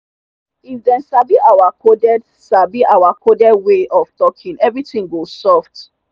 if dem sabi our coded sabi our coded way of talking everything go soft.